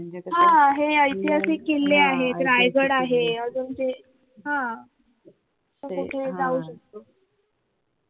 म्हणजे कस हे ऐतिहासिक किल्ले आहेत रायगड आहे अजून ते तो कुठेही जाऊ शकतो.